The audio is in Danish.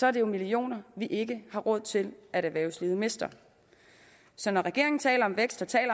er det jo millioner vi ikke har råd til at erhvervslivet mister så når regeringen taler om vækst og